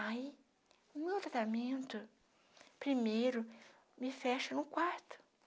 Aí, no meu tratamento, primeiro me fecho no quarto.